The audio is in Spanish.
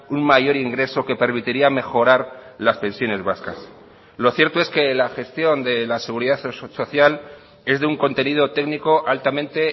un mayor ingreso que permitiría mejorar las pensiones vascas lo cierto es que la gestión de la seguridad social es de un contenido técnico altamente